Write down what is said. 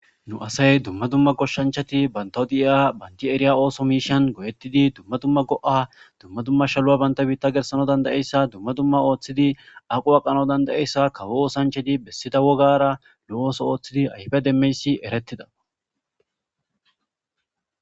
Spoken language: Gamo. Nu asay dumma dumma koshshanchati bantawo di'iya banti eriya ooso miishan go'ettidi dumma dumma go'a dumma dumma shalu'a baynta biitta gersano dandayeyssa dumma dumma ooththidi aqo aqano danda'eyssa kawo oosanchedi bessida wogara lo'ooso ooththidi aybe demmeyssi eretida